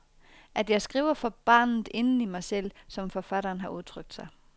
At jeg skriver for barnet inden i mig selv, som forfatteren har udtrykt sig.